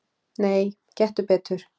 Nei, gettu betur